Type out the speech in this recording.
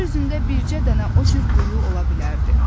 Yer üzündə bircə dənə o cür quyu ola bilərdi.